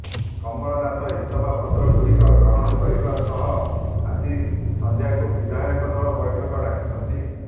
କମଳନାଥ ଇସ୍ତଫାପତ୍ରଗୁଡ଼ିକ ଗ୍ରହଣ କରିବା ସହ ଆଜି ସଂଧ୍ୟାକୁ ବିଧାୟକ ଦଳ ବୈଠକ ଡାକିଛନ୍ତି